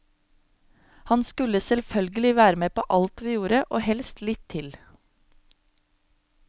Han skulle selvfølgelig være med på alt vi gjorde og helst litt til.